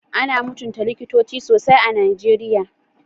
Ana mutunta Likitoci sosai a Nigeriya.